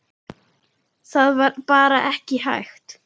Það var bara ekki hægt.